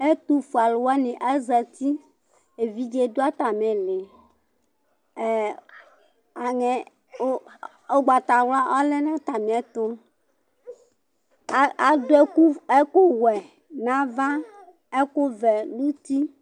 Ɛtufue aluwani azati ,evidze du atami ĩlì, aŋɛ ugbatawla ɔlɛ nu atami ɛtu, adu ɛku wɛ n'ava, ɛku vɛ n'uti